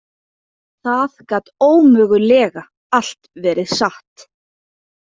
Það gat ómögulega allt verið satt.